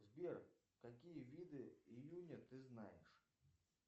сбер какие виды июня ты знаешь